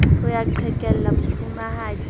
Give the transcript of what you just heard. ho ya qhekella mofumahadi ke